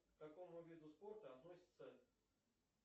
к какому виду спорта относится